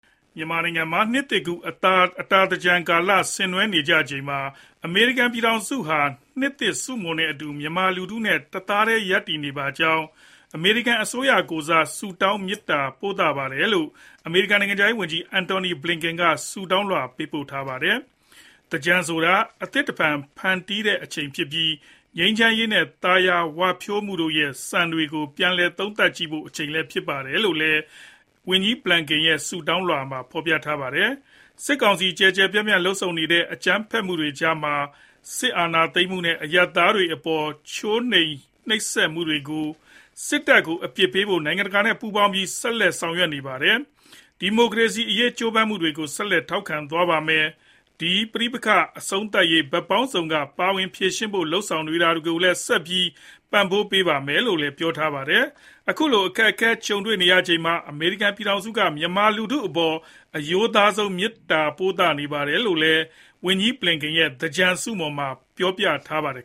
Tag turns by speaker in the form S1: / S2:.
S1: မြန်မာနိုင်ငံမှာ နှစ်သစ်ကူးအတာသင်္ကြန်ကာလ ဆင်နွှဲနေကြချိန်မှာ အမေရိကန်ပြည်ထောင်စုဟာ နှစ်သစ်ဆုမွန်နဲ့အတူ မြန်မာလူထုနဲ့ တသားထဲရပ်တည်နေပါကြောင်း အမေရိကန်အစိုးရကိုယ်စား ပြောကြားလိုပါတယ်လို့ အမေရိကန်နိုင်ငံခြားရေးဝန်ကြီး အန်တိုနီဘလင်ကင်က ဆုတောင်းလွှာ ပို့ထားပါတယ်။ သင်္ကြန်ဆိုတာ အဟောင်းကနေ အသစ်တဖန်ကူးပြောင်းတဲ့အချိန်ဖြစ်ပြီး ငြိမ်းချမ်းရေးနဲ့ သာယာဝပြောမှုတို့ရဲ့ စံတွေကို ထင်ဟပ်ဆင်ခြင်ဖို့ အချိန်လည်းဖြစ်ပါတယ်လို့လည်း ဝန်ကြီးဘလင်ကန်ရဲ့ ဆုတောင်းလွှာမှာ ပြောထားပါတယ်။ စစ်ကောင်စီ ကျယ်ကျယ်ပြန့်ပြန့်လုပ်ဆောင်နေတဲ့ အကြမ်းဖက်တွေကြားမှာ စစ်အာဏာသိမ်းမှုနဲ့ အရပ်သားတွေအပေါ်ချိုးဖောက်နှိပ်စက်မှုတွေအတွက် စစ်တပ်က တာဝန်ခံမှုရှိဖို့ အမေရိကန်က နိုင်ငံတကာနဲ့ ပူးပေါင်းပြီး ဆက်လက်ဦးဆောင်နေပါတယ်။ ဒီမိုကရေစီအရေးကြိုးပမ်းမှုတွေကို ဆက်လက် ထောက်ခံသွားပါမယ်။ ဒီပဋိပက္ခအဆုံးသတ်ရေး ဘက်ပေါင်းစုံက ပါဝင်ဖြေရှင်းဖို့ လုပ်ဆောင်နေတာကိုလည်း ဆက်ပြီး ပံ့ပိုးပါမယ်လို့လည်း ပြောထားပါတယ်။ အခုလို အခက်အခဲတွေကြုံနေရချိန်မှာ အမေရိကန်ပြည်ထောင်စုက မြန်မာလူထုအပေါ် အရိုးသားဆုံး မေတ္တာပို့သပါတယ်လို့ ဝန်ကြီးဘလင်ကန်ရဲ့ သင်္ကြန်ဆုမွန်မှာ ပြောကြားထားပါတယ်